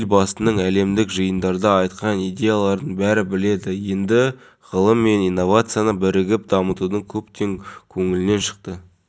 мемлекеттік кәсіпорын қолдады және біз де шет қалған жоқпыз себебі мектепке даярланудың шығыны аз емес